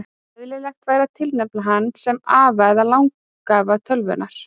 Eðlilegt væri að tilnefna hann sem afa eða langafa tölvunnar.